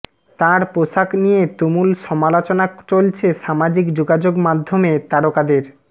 তাঁর পোশাক নিয়ে তুমুল সমালোচনা চলছে সামাজিক যোগাযোগমাধ্যমে তারকাদের